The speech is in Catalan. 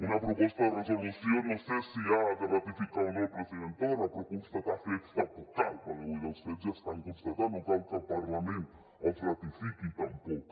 una proposta de resolució no sé si ha de ratificar o no el president torra però constatar fets tampoc cal perquè vull dir els fets ja estan constatats no cal que el parlament els ratifiqui tampoc